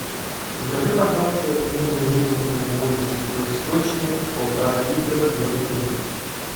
закажи пожалуйста негазированную воду святой источник полтора литра две бутылки